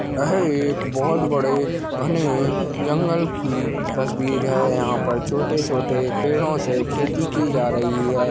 यह एक बहुत बडे घने जंगल की तस्वीर है यहाँ पर छोटो-छोटो पेंडोंसे खेती की जा रही है।